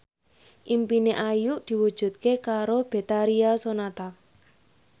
impine Ayu diwujudke karo Betharia Sonata